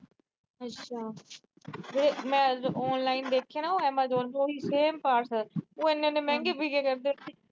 ਮੈਂ online ਦੇਖੇ ਨਾ, ਐਮਾਜੋਨ ਤੇ ਉਹੀ same ਉਹ ਇੰਨੇ-ਇੰਨੇ ਮਹਿੰਗੇ ਵਿਕਿਆ ਕਰਦੇ।